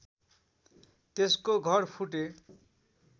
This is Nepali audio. त्यसको घर फुटे